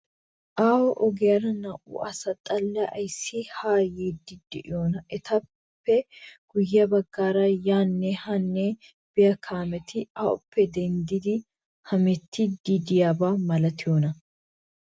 Aaho ogiyaara naa''u asa xallay ayissi haa yiiddi de''ii? Etappe guyye baggaara yaanne haanne biyaa kaameti awuppe deenddidi hemetti de''iyaaba malatiyoona?